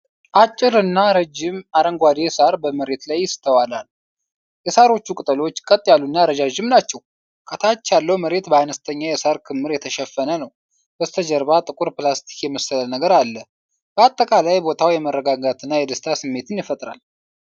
አጭርና ረጅም አረንጓዴ ሣር በመሬት ላይ ይስተዋላል። የሣሮቹ ቅጠሎች ቀጥ ያሉና ረዣዥም ናቸው፤ ከታች ያለው መሬት በአነስተኛ የሣር ክምር የተሸፈነ ነው። ከበስተጀርባ ጥቁር ፕላስቲክ የመሰለ ነገር አለ፤ በአጠቃላይ ቦታው የመረጋጋትና የደስታ ስሜትን ይፈጥራል።